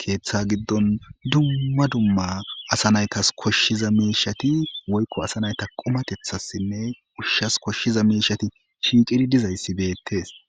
keeththa giddon dumma dumma asa naytas koshshiza meishati woykko asa nayta qumatethassinne ushshas koshshiza meishati shiiqiri dizayssi beettes